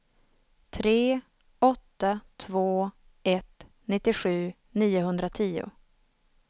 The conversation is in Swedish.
tre åtta två ett nittiosju niohundratio